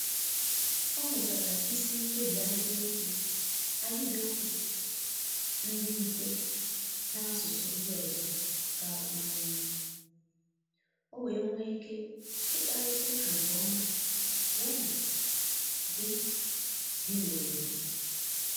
ọ mụtara isi nkebi ahiriokwu ahiriokwu ndi mfe n'asụsụ ndi ọzọ ka um o wee nwee ike ikparita ụka nke ọma ya na di bi na obodo